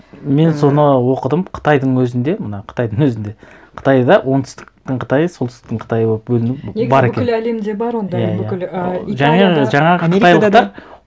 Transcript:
мен соны оқыдым қытайдың өзінде мына қытайдың өзінде қытайда оңтүстіктің қытайы солтүстіктің қытайы болып бөліну бар екен негізі бүкіл әлемде бар ондай иә иә бүкіл ыыы және жаңағы қытайлықтар